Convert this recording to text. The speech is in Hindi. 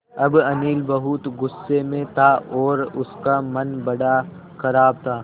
अब अनिल बहुत गु़स्से में था और उसका मन बड़ा ख़राब था